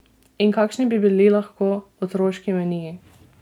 In kakšni bi bili lahko otroški meniji?